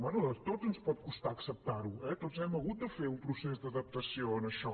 bé a tots ens pot costar acceptarho eh tots hem hagut de fer un procés d’adaptació en això